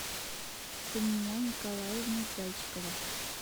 сания николаевна зайчикова